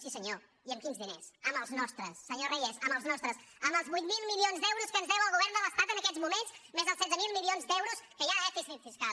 sí senyor i amb quins diners amb els nostres senyor reyes amb els nostres amb els vuit mil milions d’euros que ens deu el govern de l’estat en aquests moments més els setze mil milions d’euros que hi ha de dèficit fiscal